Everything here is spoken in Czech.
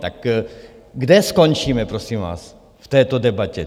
Tak kde skončíme, prosím vás, v této debatě?